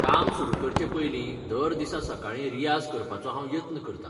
काम सुरू करचे पयलीं दर दिसा सकाळीं रियाज करपाचो हांव यत्न करतां.